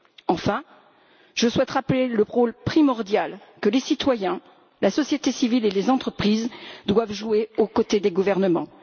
Enfin, je souhaite rappeler le rôle primordial que les citoyens, la société civile et les entreprises doivent jouer aux côtés des gouvernements.